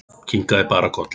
Kinkaði bara kolli.